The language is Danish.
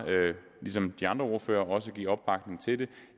ligesom de andre ordførere også give opbakning til det